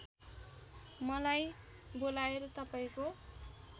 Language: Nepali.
मलाई बोलाएर तपाईँको